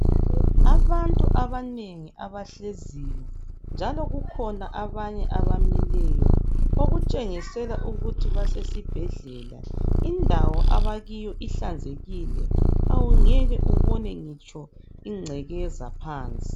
Abantu abanengi abahleziyo, njalo kukhona abanye abamileyo, okutshengisela ukuthi basesibhedlela, indawo abakiyo ihlanzekile, awungeke ubone ngitsho ingcekeza phansi.